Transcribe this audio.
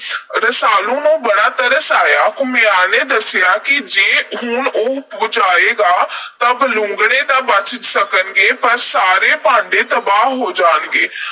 ਰਸਾਲੂ ਨੂੰ ਬੜਾ ਤਰਸ ਆਇਆ। ਘੁਮਿਆਰ ਨੇ ਦੱਸਿਆ ਕਿ ਜੇ ਉਹ ਹੁਣ ਅੱਗ ਬੁਝਾਵੇਗਾ, ਤਾਂ ਬਲੂੰਗੜੇ ਤਾਂ ਬਚ ਸਕਣਗੇ, ਪਰ ਸਾਰੇ ਭਾਂਡੇ ਤਬਾਹ ਹੋ ਜਾਣਗੇ।